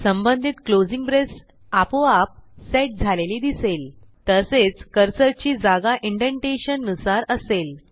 संबंधित closing brace आपोआप set झालेली दिसेल तसेच कर्सरची जागा इंडेंटेशन नुसार असेल